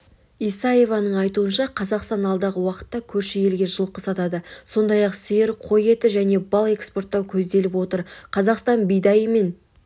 исаеваның айтуынша қазақстан алдағы уақытта көрші елге жылқы сатады сондай-ақ сиыр қой еті мен бал экспорттау көзделіп отыр қазақстан бидайы мен